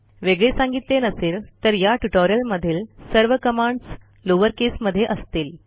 वेगळे सांगितले नसेल तर या ट्युटोरियल मधील सर्व कमांडस लोअर केसमध्ये असतील